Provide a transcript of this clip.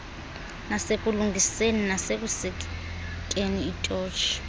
nasekulungiseni nasekusikeni itotshi